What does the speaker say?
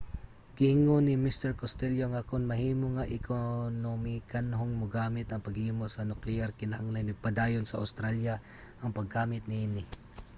giingon ni mr costello nga kon mahimo nga ekonomikanhong magamit ang paghimo sa nukleyar kinahanglan ipadayon sa australia ang paggamit niini